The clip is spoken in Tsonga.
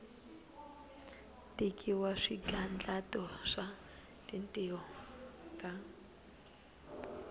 tekiwa swigandlato swa tintiho ta